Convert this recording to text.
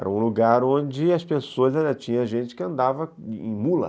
Era um lugar onde as pessoas ainda tinham gente que andava em mula.